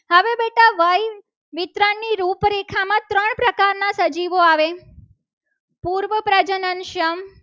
સજીવો આવે પૂર્વ પ્રજનન સંઘ